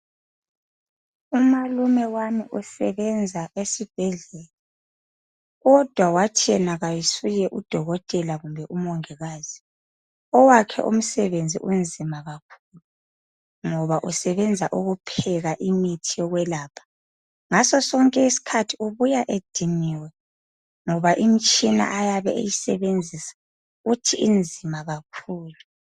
Umalume wami usebenza esibhedlela kodwa wathi yena kayisuye udokotela kumbe umongikazi owakhe umsebenzi unzima kakhulu ngoba usebenza ukupheka imithi yokwelapha. Ngaso sonke isikhathi ubuya ediniwe ngoba imitshina ayabe eyisebenzisa uthi inzima kakhulu.